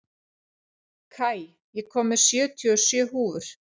Kai, ég kom með sjötíu og sjö húfur!